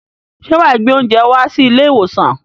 Ṣé wà á gbé oúnjẹ wá sí ilé-ìwòsàn?